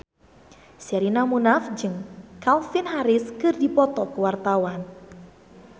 Sherina Munaf jeung Calvin Harris keur dipoto ku wartawan